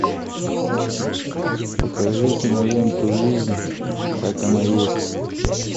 покажи киноленту жизнь как она есть